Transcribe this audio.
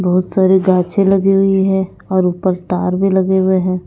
बहुत सारे गाछे लगी हुई है और ऊपर तार भी लगे हुए हैं।